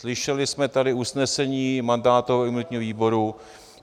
Slyšeli jsme tady usnesení mandátového a imunitního výboru.